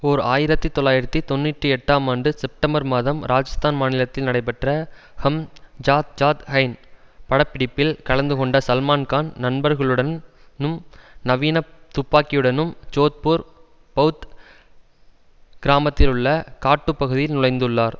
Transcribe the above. ஓர் ஆயிரத்தி தொள்ளாயிரத்தி தொன்னூற்றி எட்டாம் ஆண்டு செப்டம்பர் மாதம் ராஜஸ்தான் மாநிலத்தில் நடைபெற்ற ஹம் ஜாத் ஜாத் ஹைன் பட பிடிப்பில் கலந்துகொண்ட சல்மான்கான் நண்பர்களுடன் னும் நவீன துப்பாக்கியுடனும் ஜோத்பூர் பவுத் கிராமத்திலுள்ள காட்டுப்பகுதியில் நுழைந்துள்ளார்